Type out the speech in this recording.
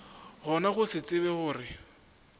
gona go se tsebe gore